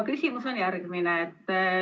Küsimus on järgmine.